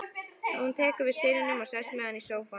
Hún tekur við syninum og sest með hann í sófann.